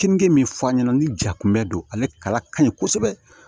Keninge min fɔ an ɲɛna ni ja kunbɛ don ale kala ka ɲi kosɛbɛ